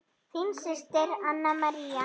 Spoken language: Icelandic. Þín systir, Anna María.